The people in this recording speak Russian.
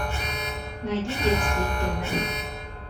найди детские фильмы